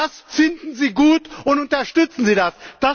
Das finden Sie gut und unterstützen das!